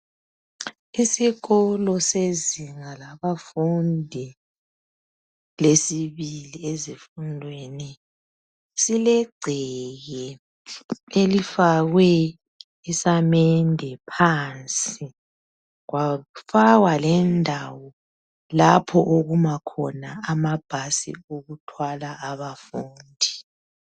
Isikolo sezinga labafundi lesibili ezifundweni sileggceke elifakwe isamende phansi , kwafakwa lendawo lapho kuma khona amabhasi okuthwala abafundi